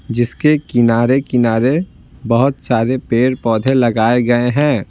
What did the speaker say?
जिसके किनारे-किनारे बहुत सारे पेड़-पौधे लगाए गए हैं।